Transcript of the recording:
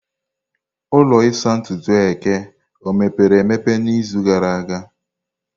Ụlọ ịsa ntutu eke o emepere emepe n'izu gara aga?